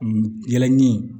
Yɛlɛ ni